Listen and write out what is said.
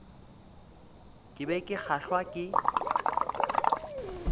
ke be ke kgahlwa ke